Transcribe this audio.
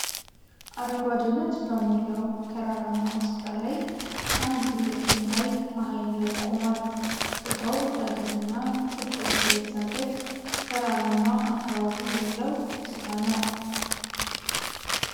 አረንጓዴነት በሞላው ተራራማ ስፍራ ላይ አንድ ትክል ድንጋይ ማሃል ላይ ቆሟል። ቦታው ዳገት እና ቁልቁለት የበዛበት ተራራማ አካባቢ ያለው ስፍራ ነው።